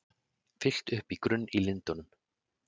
Fyllt upp í grunn í Lindunum